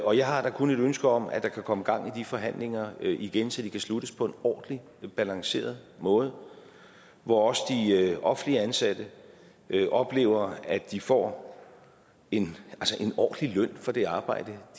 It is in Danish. og jeg har da kun et ønske om at der kan komme gang i de forhandlinger igen så de kan sluttes på en ordentlig balanceret måde hvor også de offentligt ansatte oplever at de får en ordentlig løn for det arbejde